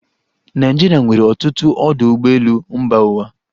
Naịjirịa nwere ọtụtụ ọdụ ụgbọelu mba ụwa.